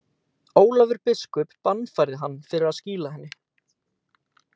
Ólafur biskup bannfærði hann fyrir að skýla henni.